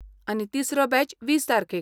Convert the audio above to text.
आनी, तिसरो बॅच वीस तारखेक.